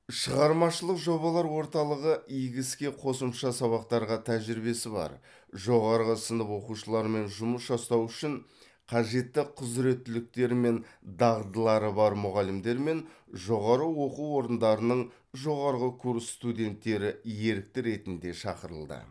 шығармашылық жобалар орталығы игі іске қосымша сабақтарға тәжірибесі бар жоғары сынып оқушыларымен жұмыс жасау үшін қажетті құзіреттіліктері мен дағдылары бар мұғалімдер мен жоғары оқу орындарының жоғарғы курс студенттері ерікті ретінде шақырылды